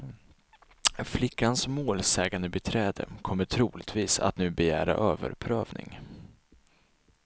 Flickans målsägandebiträde kommer troligtvis att nu begära överprövning.